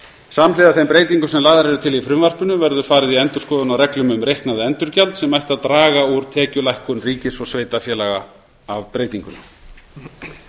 samhliða þeim breytingum sem lagðar eru til í frumvarpinu verður farið í endurskoðun á reglum um reiknað endurgjald sem ættu að draga úr tekjulækkun ríkis og sveitarfélaga af breytingunni